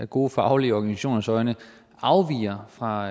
gode faglige organisationers øjne afviger fra